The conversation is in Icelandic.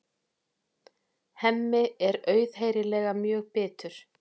Hemmi er auðheyrilega mjög bitur.